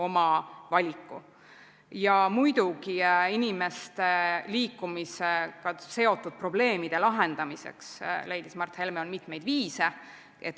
Mart Helme leidis, et muidugi, inimeste liikumisega seotud probleemide lahendamiseks on mitmeid viise.